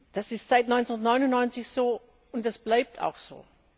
Das ist seit 1999 so und das bleibt auch so.